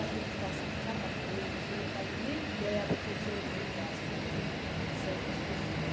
A gente passa cada coisa que você não faz nem ideia do que o ser humano passa na vida certas pessoas.